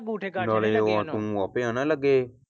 ਨਾਲੇ ਤੂੰ ਆਪੇ ਆਂਦਾ ਸੀ ਲੱਗੇ ਆ।